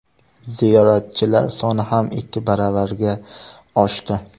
Ziyoratchilar soni ham ikki baravarga oshdi.